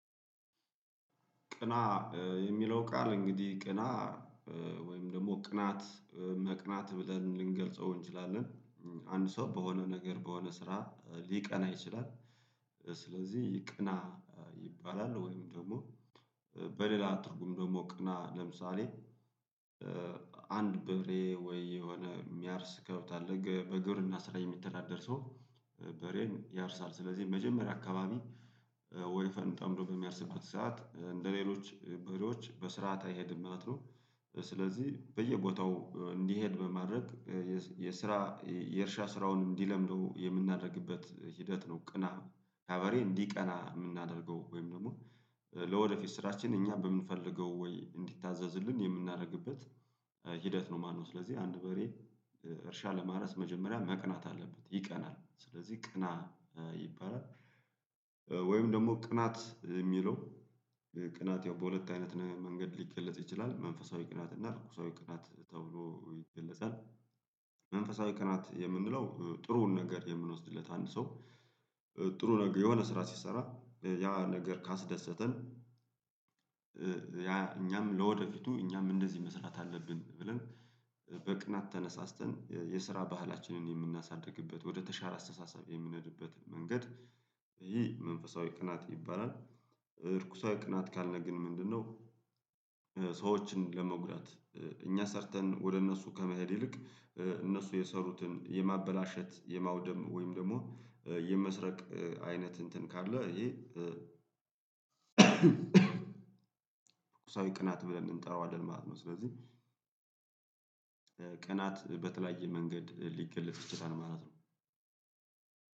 ቅና የሚለው ቃል እንግዲህ ቅና ወይም ደግሞ ቅናት መቅናት ብለን ልንገልጸው እንችላለን። አንድ ሰው በሆነ ነገር በሆነ ስራ ሊቀና ይችላል። ስለዚህ ቅና ይባላል ወይም ደግሞ በሌላ ትርጉም ደግሞ ቅና ለምሳሌ አንድ በበሬ ወይ የሆነ የሚያርስ ከብት አለህ በግብርና ስራ የሚተዳደር ሰው በሬን ያርሳል ስለዚህ መጀመሪያ አካባቢ ወይፈኑን ፈንጠምዶ በሚያርስበት ሰዓት እንደሌሎች በሬዎች በስርዓት አይሄድም ማለት ነው። ስለዚህ በየቦታው እንዲሄድ በማድረግ የስራ የእርሻ ስራውን እንዲለምደው የምናደርግበት ሂደት ነው። ቅና ካቨሬ እንዲቀና የምናደርገው ወይም ደግሞ ለወደፊት ስራችን እኛ በምንፈልገው ወይ እንዲታዘዝልን የምናደርግበት ሂደት ነው ማለት ነው። ስለዚህ አንድ በሬ እርሻ ለማረስ መጀመሪያ መቅናት አለበት ይቀናል ስለዚህ ቅና ይባላል። ወይም ደግሞ ቅናት የሚለው ቅናት ያው በሁለት አይነት መንገድ ሊገለጽ ይችላል መንፈሳዊ ቅናት እና ርኩሳዊ ቅናት ተብሎ ይገለጻል። መንፈሳዊ ቀናት የምንለው ጥሩውን ነገር የምንወስድለት አንድ ሰው ጥሩ ነገር የሆነ ስራ ሲሰራ ያ ነገር ካስደሰተን ያ እኛም ለወደፊቱ እኛም እንደዚህ መስራት አለብን ብለን በቅናት ተነሳስተን የስራ ባህላችንን የምናሳድግበት ወደ ተሻለ አስተሳሰብ የሚንሄድበት መንገድ ይህ መንፈሳዊ ቅናት ይባላል። እርኩሳዊ ቅናት ካልግን ምንድነው? ሰዎችን ለመጉዳት እኛ ሰርተን ወደ እነሱ ከመሄድ ይልቅ እነሱ የሰሩትን የማበላሸት የማውደም ወይም ደግሞ የመስረቅ አይነት እንትን ካለ ይሄ እርኩሳዊ ቅናት ብለን እንጠራዋለን ማለት ነው። ስለዚህ ቅናት በተለያየ መንገድ ሊገለጽ ይችላል ማለት ነው።